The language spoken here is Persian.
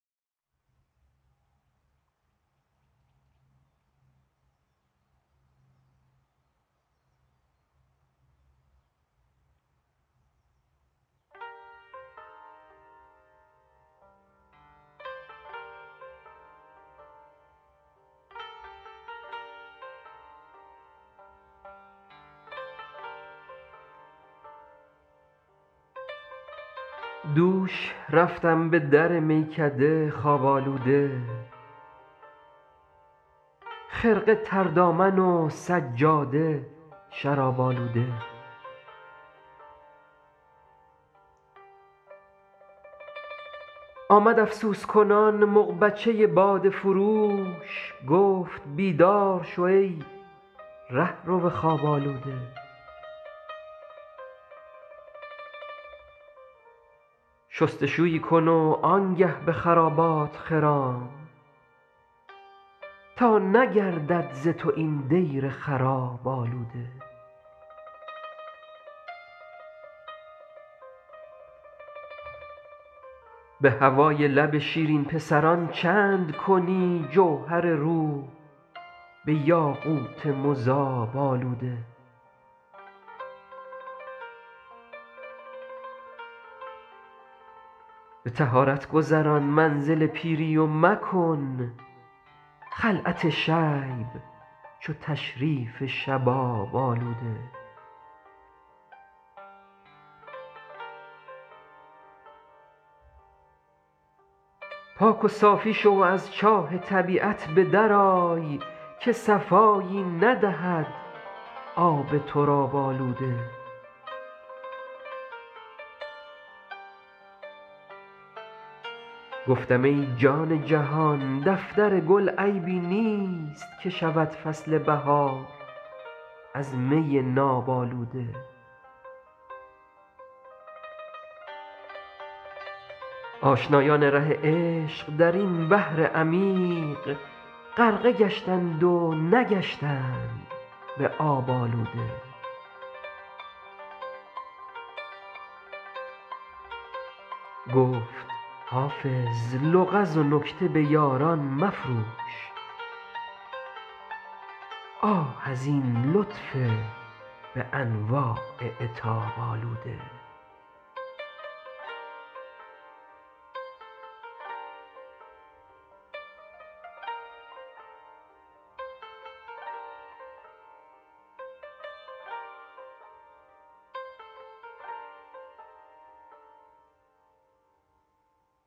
دوش رفتم به در میکده خواب آلوده خرقه تر دامن و سجاده شراب آلوده آمد افسوس کنان مغبچه باده فروش گفت بیدار شو ای رهرو خواب آلوده شست و شویی کن و آن گه به خرابات خرام تا نگردد ز تو این دیر خراب آلوده به هوای لب شیرین پسران چند کنی جوهر روح به یاقوت مذاب آلوده به طهارت گذران منزل پیری و مکن خلعت شیب چو تشریف شباب آلوده پاک و صافی شو و از چاه طبیعت به در آی که صفایی ندهد آب تراب آلوده گفتم ای جان جهان دفتر گل عیبی نیست که شود فصل بهار از می ناب آلوده آشنایان ره عشق در این بحر عمیق غرقه گشتند و نگشتند به آب آلوده گفت حافظ لغز و نکته به یاران مفروش آه از این لطف به انواع عتاب آلوده